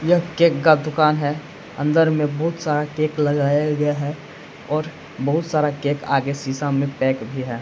यह केक का दुकान है अंदर में बहुत सारा केक लगाया गया है और बहुत सारा केक आगे शीशा में पैक भी है।